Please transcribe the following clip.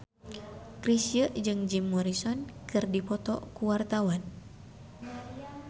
Chrisye jeung Jim Morrison keur dipoto ku wartawan